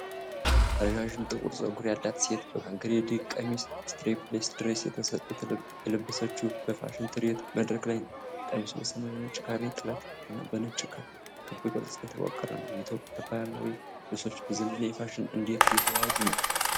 ረዣዥም ጥቁር ፀጉር ያላት ሴት በካሬዲንግ ቀሚስ (Strapless dress) የለበሰችው በፋሽን ትርኢት መድረክ ላይ ነው። ቀሚሱ በሰማያዊና ነጭ ካሬ ጥለት እና በነጭ ክብ ቅርጽ የተዋቀረ ነው። የኢትዮጵያ ባህላዊ ልብሶች በዘመናዊ ፋሽን እንዴት እየተዋሃዱ ነው?